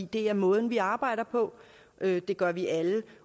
det er måden vi arbejder på det gør vi alle